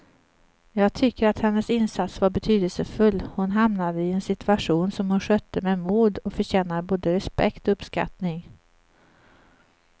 Jag tycker att hennes insats var betydelsefull, hon hamnade i en situation som hon skötte med mod och förtjänar både respekt och uppskattning.